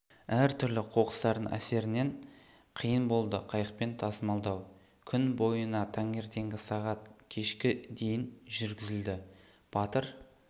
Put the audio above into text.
әр-түрлі қоқыстардың әсерінен қиын болды қайықпен тасымалдау күн бойына танертеңгі сағат кешкі дейін жүргізілді батыр